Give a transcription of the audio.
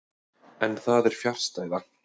En það er fjarstæða.